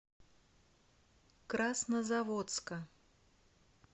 краснозаводска